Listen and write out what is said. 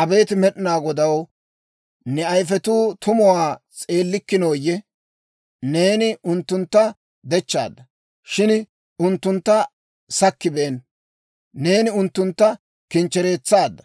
Abeet Med'inaa Godaw, ne ayifetuu tumuwaa s'eellikkinooyye? Neeni unttuntta dechchaadda, shin unttuntta sakkibeenna. Neeni unttuntta kinchchereetsaadda,